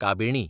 काबिणी